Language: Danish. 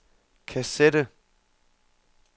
kassette